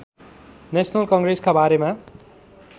national कङ्ग्रेसका बारेमा